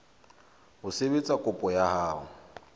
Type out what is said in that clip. ho sebetsa kopo ya hao